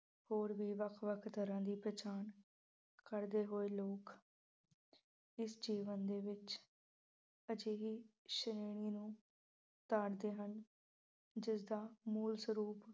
ਹੋਰ ਵੀ ਵੱਖ-ਵੱਖ ਤਰ੍ਹਾਂ ਦੀ ਪਛਾਣ ਕਰਦੇ ਹੋਏ ਲੋਕ ਇਸ ਜੀਵਨ ਦੇ ਵਿੱਚ ਅਜਿਹੀ ਸ਼੍ਰੇਣੀ ਨੂੰ ਤਾੜਦੇ ਹਨ ਜਿਸ ਦਾ ਮੂਲ ਸਰੂਪ